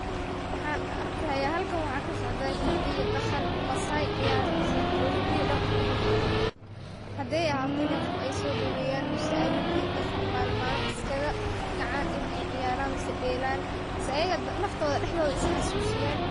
Waxaan arki haya halkan waxaa kasocda hida iyo dhaqan maasai ciyareyso oo hida iyo dhaqan kujirto haday ahato in ay qof ay soodaweyaan mise hida iyo dhaqan malin malin iskaga kacaan in ay ciyaaran mise dheelan mise ayaga naftooda daxdooda is xasusiyaan.